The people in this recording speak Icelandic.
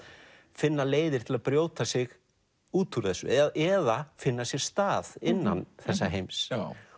finna leiðir til að brjóta sig út úr þessu eða eða finna sér stað innan þessa heims